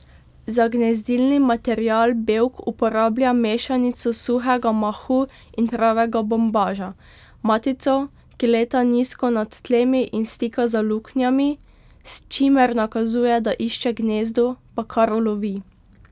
Za gnezdilni material Bevk uporablja mešanico suhega mahu in pravega bombaža, matico, ki leta nizko nad tlemi in stika za luknjami, s čimer nakazuje, da išče gnezdo, pa kar ulovi.